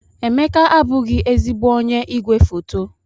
Emeka abụghị ezigbo onye igwefoto.